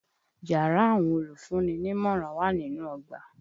Yàrá àwọn olùfúnni nímọ̀ràn wà nínú ọgbà.